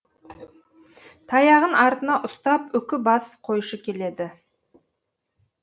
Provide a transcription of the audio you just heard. таяғын артына ұстап үкі бас қойшы келеді